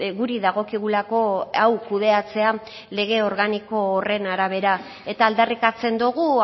guri dagokigulako hau kudeatzea lege organiko horren arabera eta aldarrikatzen dugu